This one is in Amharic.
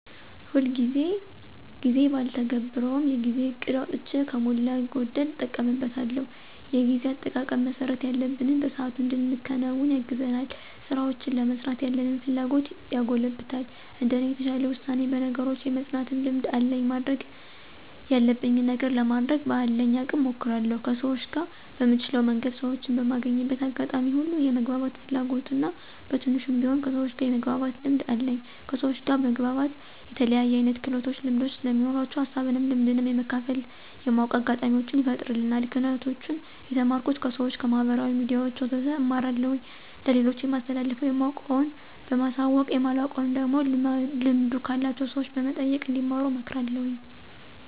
ሁልጊዜ ጊዜ ባልተገብረውም የጊዜ እቅድ አውጥቼ ከሞላ ጎደል እጠቀምበታለሁ። የጊዜ አጠቃቀም መስራት ያለብንን በሰአቱ እንድንከውን ያግዘናል፣ ስራውችን ለመስራት ያለንን ፍላጎት ያጎለብታል። እንደኔ የተሻለ ውሳኔ፣ በነገሮች የመፅናት ልምድ አለኝ ማድረግ ያለብኝን ነገር ለማድረግ በአለኝ አቅም እሞክራለሁ። ከሰውች ጋር በምችለው መንገድ ሰወችን በማገኝበት አጋጣሚዎች ሁሉ የመግባባት ፍላጎት እና በትንሹም ቢሆን ከሰውች ጋር የመግባባት ልምድ አለኝ። ከሰውች ጋር መግባባት የተለያየ አይነት ክህሎቶች ልምዶች ስለሚኖራቸው ሀሳብንም ልምድንም የመካፈል የማወቅ አጋጣሚውችን ይፈጥርልናል። ክህሎቶችን የተማርኩት፦ ከሰውች፣ ከማህበራዊ ሚዲያውች ወዘተ እማራለሁኝ። ለሌሎች የማስተላልፈው የማውቀውን በማሳወቅ የማላውቀውን ደግሞ ልምዱ ካላቸው ሰውች እንዲጠይቁ እንዲማሩ አመክራለሁኝ።